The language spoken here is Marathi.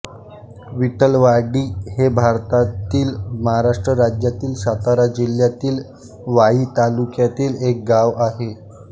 विठलवाडी हे भारतातील महाराष्ट्र राज्यातील सातारा जिल्ह्यातील वाई तालुक्यातील एक गाव आहे